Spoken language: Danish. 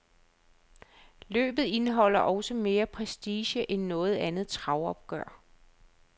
Løbet indeholder også mere prestige end noget andet travopgør.